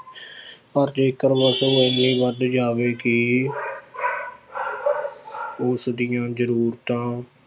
ਪਰ ਜੇਕਰ ਵਸੋਂ ਇੰਨੀ ਵੱਧ ਜਾਵੇ ਕਿ ਉਸਦੀਆਂ ਜ਼ਰੂਰਤਾਂ